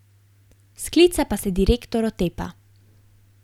Sklica pa se direktor otepa.